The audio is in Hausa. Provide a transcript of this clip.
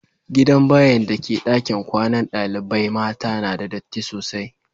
Gidan bayin' da ke dakin kwanan dalibain mata na da datti sosai.